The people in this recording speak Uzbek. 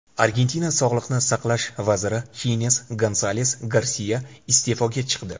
Argentina sog‘liqni saqlash vaziri Xines Gonsales Garsia iste’foga chiqdi.